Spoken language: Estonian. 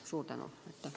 Suur tänu!